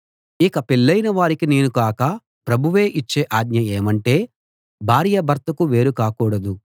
ఇక పెళ్ళయిన వారికి నేను కాక ప్రభువే ఇచ్చే ఆజ్ఞ ఏమంటే భార్య భర్తకు వేరు కాకూడదు